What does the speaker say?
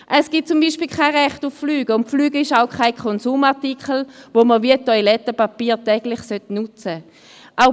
Es gibt zum Beispiel kein Recht aufs Fliegen, und das Fliegen ist auch kein Konsumartikel, den man wie Toilettenpapier täglich nutzen soll.